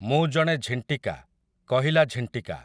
ମୁଁ ଜଣେ ଝୀଂଟିକା, କହିଲା ଝୀଂଟିକା ।